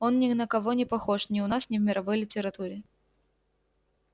он ни на кого не похож ни у нас ни в мировой литературе